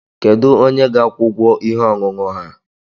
Kedu onye ga-akwụ ụgwọ ihe ọṅụṅụ ha?